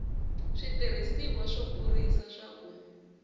switirhisiwa swo kurisa swa ku